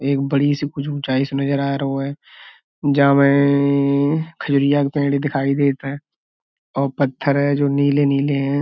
एक बड़ी सी कुछ उचाईं से नजर आ रहो है। जा में का पेड़ दिखाई देत है और जो पत्थर है जो नीले-नीले हैं।